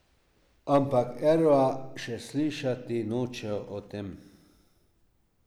Ampak Erva še slišati noče o tem.